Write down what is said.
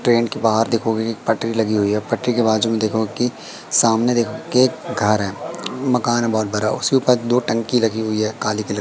train के बाहर देखोगे एक पटरी लगी हुई है पटरी के बाजू में देखोगे की सामने देखोगे की एक घर है मकान बहोत बड़ा उसके ऊपर दो टंकी लगी हुई है काले कलर --